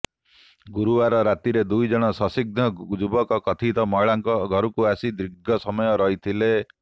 ଗୁରୁବାର ରାତିରେ ଦୁଇଜଣ ସନ୍ଦିଗ୍ଧ ଯୁବକ କଥିତ ମହିଳାଙ୍କ ଘରକୁ ଆସି ଦୀର୍ଘ ସମୟ ରହିଥିଲେ